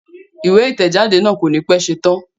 Ìwé ìtẹ̀jáde náà kò ní pẹ́ ṣetán